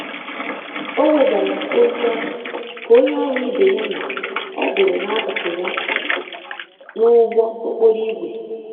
O wedara olu ahụ ka onye ọrụ ibe ya nọ ọdụrụ n'akụkụ ya n'ụgbọ okporo ígwè.